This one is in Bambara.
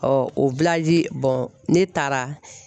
o ne taara.